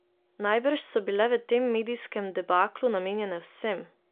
Najbrž so bile v tem medijskem debaklu namenjene vsem.